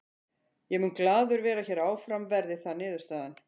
Ég mun glaður vera hér áfram verði það niðurstaðan.